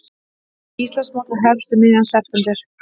Íslandsmótið hefst um miðjan september